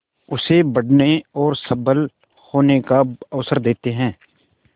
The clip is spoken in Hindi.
उसे बढ़ने और सबल होने का अवसर देते हैं